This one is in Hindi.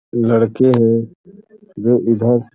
लड़के हैं जो इधर --